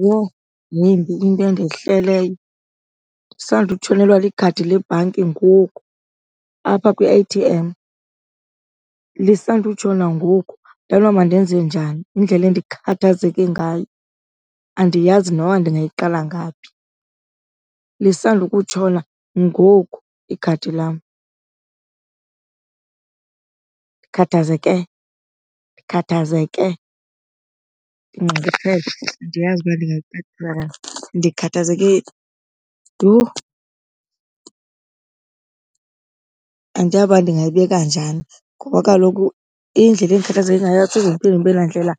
Yho, mimbi into endehleleyo ndisandutshonelwea likhadi lebhanki ngoku apha kwi-A_T_M, lisandutshona ngoku. Andazi noba mandenze njani, indlela endikhathazeke ngayo andiyazi noba ndingayiqala ngaphi. Lisandukutshona ngoku ikhadi lam. Ndikhathazeke, ndikhathazeke, ndinxunguphele andiyazi uba ndikhathazeke yhu. Andiyazi uba ndingayibeka njani ngoba kaloku indlela endikhathazeke ngayo asoze ndiphinde ndibe nandlela